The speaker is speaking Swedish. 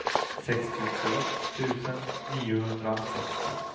sextiotvå tusen niohundrasextio